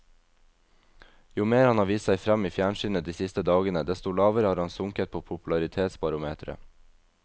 Jo mer han har vist seg frem i fjernsynet de siste dagene, desto lavere har han sunket på popularitetsbarometeret.